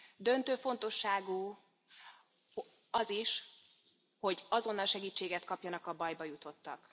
Döntő fontosságú az is, hogy azonnal segítséget kapjanak a bajba jutottak.